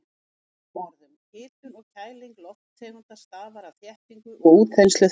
Með öðrum orðum, hitun og kæling lofttegunda stafar af þéttingu og útþenslu þeirra.